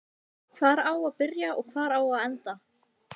Hvar á að byrja og hvar á að enda?